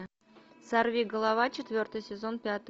сорвиголова четвертый сезон пятая